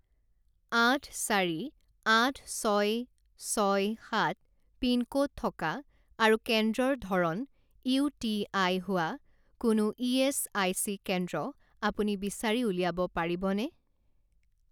আঠ চাৰি আঠ ছয় ছয় সাত পিনক'ড থকা আৰু কেন্দ্ৰৰ ধৰণ ইউ টি আই হোৱা কোনো ইএচআইচি কেন্দ্ৰ আপুনি বিচাৰি উলিয়াব পাৰিবনে?